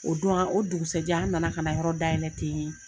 O don an o dugusɛjɛ an nana ka na yɔrɔ dayɛlɛ ten